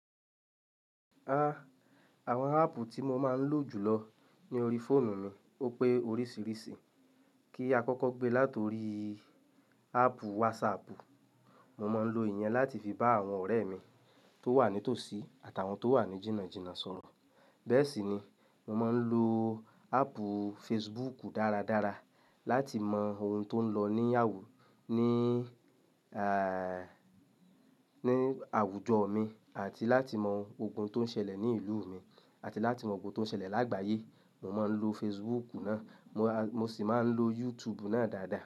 Ah! Àwọn app tí mo máa ń lò jùlọ ní orí fóònù mi ó pé oríṣìíríṣìí. Kí a kọ́kọ́ gbé láti orí app WhatsApp, mo máa ń lo ìyẹn láti fi bá àwọn ọ̀rẹ́ mi tó wà ní tòsí àtàwọn tó wà ní jìnnàjìnnà sọ̀rọ̀. Bẹ́ẹ̀ sì ni, mo máa ń lo app Facebook dáradára láti mọ ohun tó ń lọ ní àwù, ní, àń, ní àwùjọ mi àti láti mọ ogun tó ń ṣẹlẹ̀ ní ìlú mi àti láti mọ ogun tó ń ṣẹlẹ̀ lágbàáyé. Mo máa ń lo Facebook náà. Mo a, mo sì máa ń lo YouTube náà dáadáa.